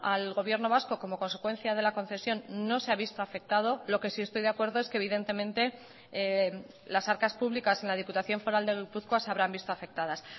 al gobierno vasco como consecuencia de la concesión no se ha visto afectado lo que sí estoy de acuerdo es que evidentemente las arcas públicas en la diputación foral de gipuzkoa se habrán visto afectadas